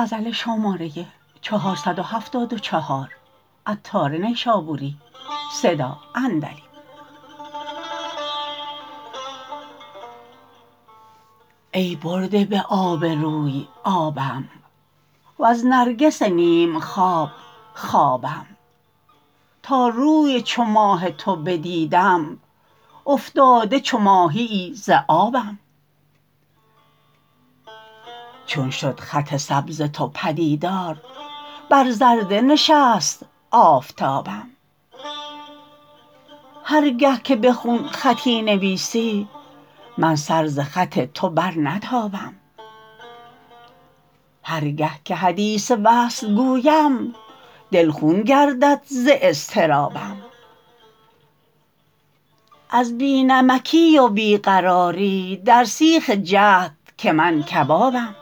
ای برده به آب روی آبم وز نرگس نیم خواب خوابم تا روی چو ماه تو بدیدم افتاده چو ماهیی ز آبم چون شد خط سبز تو پدیدار بر زرده نشست آفتابم هرگه که به خون خطی نویسی من سر ز خط تو برنتابم هرگه که حدیث وصل گویم دل خون گردد ز اضطرابم از بی نمکی و بی قراری در سیخ جهد که من کبابم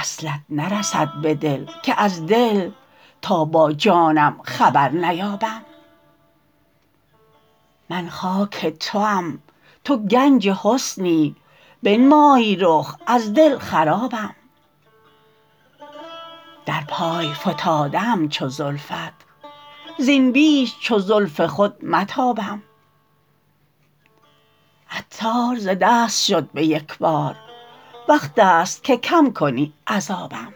وصلت نرسد به دل که از دل تا با جانم خبر نیابم من خاک توام تو گنج حسنی بنمای رخ از دل خرابم در پای فتاده ام چو زلفت زین بیش چو زلف خود متابم عطار ز دست شد به یکبار وقت است که کم کنی عذابم